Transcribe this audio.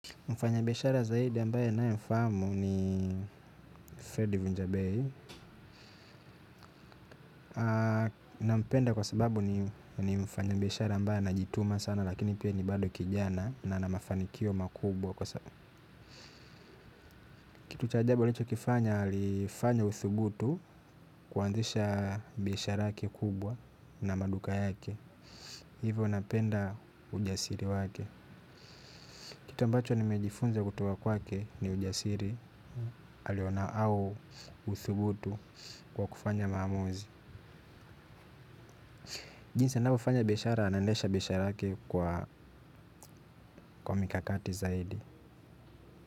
Mfanya biashara zaidi ambaye naye mfahamu ni Ferdivu Njabay. Nampenda kwa sababu ni mfanya biashara ambaye anajituma sana lakini pia ni bado kijana na ana mafanikio makubwa kwa sababu. Kitu cha ajabu alicho kifanya alifanya uthubutu kuanzisha biashara yake kubwa na maduka yake. Hivo napenda ujasiri wake. Kitu ambacho nimejifunza kutoka kwake ni ujasiri, aliona au uthubutu kwa kufanya maamuzi. Jinsi anavyofanya biashara anaendesha biashara yake kwa mikakati zaidi.